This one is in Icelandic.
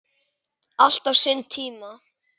Allt á sinn tíma.